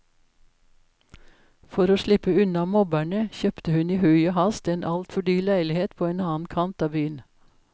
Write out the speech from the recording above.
For å slippe unna mobberne kjøpte hun i hui og hast en altfor dyr leilighet på en annen kant av byen.